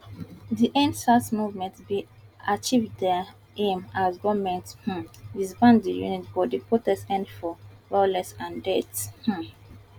di endsars movement bin achieve dia aim as goment um disband di unit but di protest end for violence and deaths um